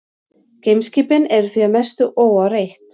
Geimskipin eru því að mestu óáreitt.